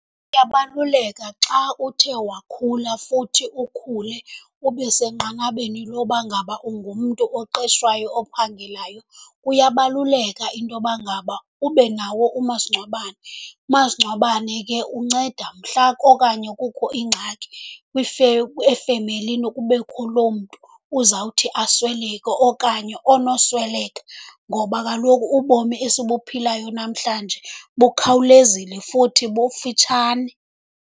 Kuyabaluleka xa uthe wakhula futhi ukhule ube senqanabeni loba ngaba ungumntu oqeshwayo, ophangelayo, kuyabaluleka intoba ngaba ube nawo umasingcwabane. Umasingcwabane ke unceda mhla okanye kukho ingxaki efemelini, kubekho loo mntu uzawuthi asweleke okanye onosweleka, ngoba kaloku ubomi esibuphilayo namhlanje bukhawulezile futhi bufitshane.